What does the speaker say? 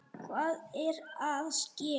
Hvað er að ske?